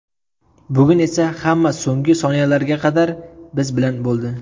Bugun esa hamma so‘nggi soniyalarga qadar biz bilan bo‘ldi.